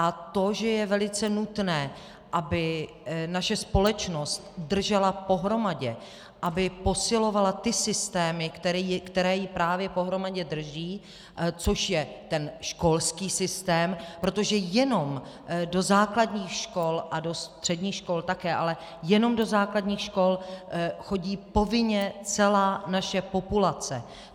A to, že je velice nutné, aby naše společnost držela pohromadě, aby posilovala ty systémy, které ji právě pohromadě drží, což je ten školský systém, protože jenom do základních škol a do středních škol také, ale jenom do základních škol chodí povinně celá naše populace.